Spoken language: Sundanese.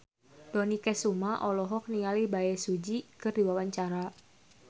Dony Kesuma olohok ningali Bae Su Ji keur diwawancara